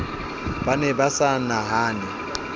ba ne ba sa nahane